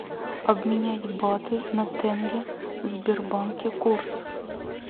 обменять баты на тенге в сбербанке курс